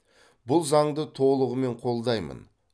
бұл заңды толығымен қолдаймын